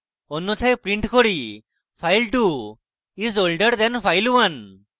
অন্যথায় আমরা print করি file2 is older than file1